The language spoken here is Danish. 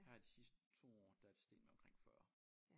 Her de sidste 2 år der det steget med omkring 40